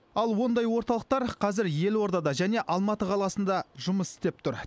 ал ондай орталықтар қазір елордада және алматы қаласында жұмыс істеп тұр